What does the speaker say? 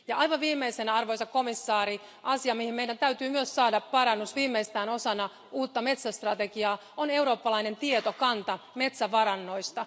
Ja aivan viimeisenä arvoisa komissaari, asia mihin meidän täytyy myös saada parannus viimeistään osana uutta metsästrategiaa, on eurooppalainen tietokanta metsävarannoista.